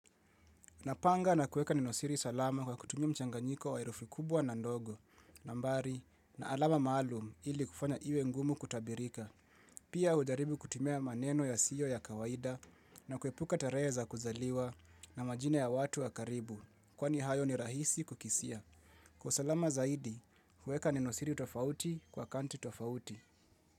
Napanga na kuweka nenosiri salama kwa kutumia mchanganyiko wa herufi kubwa na ndogo, nambari, na alama maalum ili kufanya iwe ngumu kutabirika. Pia hujaribu kutumia maneno ya siyo ya kawaida na kuepuka tarehe za kuzaliwa na majina ya watu wa karibu, kwani hayo ni rahisi kukisia. Kwa usalama zaidi, kuweka nenosiri tofauti kwa kanti tofauti.